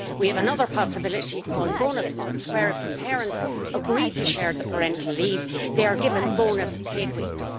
We have another possibility called bonus months' where if the parents agree to share the parental leave, they are given bonus paid weeks.